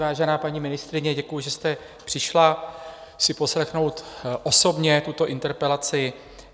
Vážená paní ministryně, děkuji, že jste přišla si poslechnout osobně tuto interpelaci.